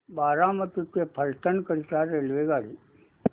बारामती ते फलटण करीता रेल्वेगाडी